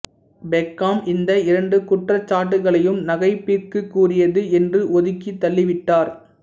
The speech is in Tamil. பெக்காம் இந்த இரண்டு குற்றச்சாட்டுகளையும் நகைப்பிற்குரியது என்று ஒதுக்கித் தள்ளிவிட்டார்